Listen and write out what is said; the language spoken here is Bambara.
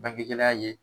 Bange gɛlɛya ye